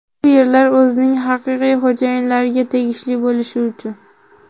Bu yerlar o‘zining haqiqiy xo‘jayinlariga tegishli bo‘lishi uchun.